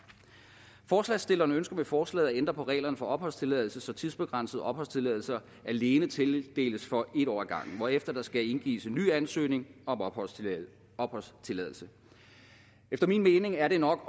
forslagsstillerne ønsker med forslaget at ændre på reglerne for opholdstilladelse så tidsbegrænset opholdstilladelse alene tildeles for en år ad gangen hvorefter der skal indgives en ny ansøgning om opholdstilladelse opholdstilladelse efter min mening er det nok